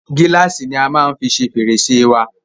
Gílàsì ni a maá fí ṣe fẹ̀rẹ̀sẹ́ wa